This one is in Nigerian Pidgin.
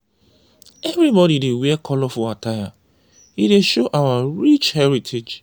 everybody dey wear colorful attire e dey show our rich heritage.